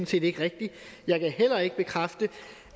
set ikke rigtigt jeg kan heller ikke bekræfte